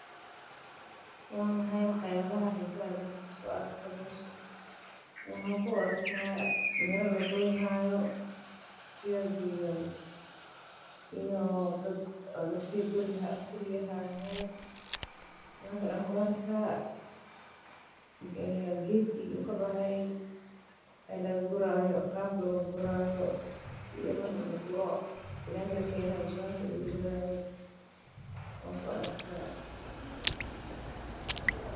Waa maxay wax yaabaha xiisaha leh oo aad ku aragto meeshan waxaan arki haaya mira la guri haayo iyo dadaka guri haayan.